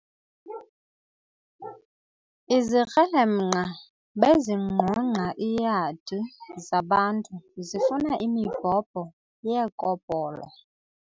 Izikrelemnqa bezingqongqa iiyadi zabantu zifuna imibhobho yeekopolo.